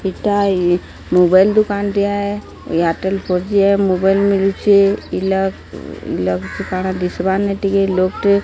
ଏଟା ଏଇ ମୋବାଇଲ ଦୋକାନ ଟିଏ ଏୟାରଟେଲ ଫୋର ଜି ମୋବାଇଲ ମିଳୁଛି ଇଲା ଲଗ କାଣ ଦିଶବାର ନାଇ ଟିକେ ଲୋକ ଟେ --